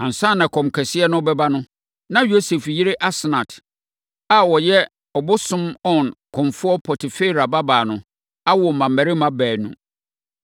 Ansa na ɛkɔm kɛseɛ no rebɛba no, na Yosef yere Asnat, a ɔyɛ ɔbosom On kɔmfoɔ Potifera babaa no, awo mmammarima baanu.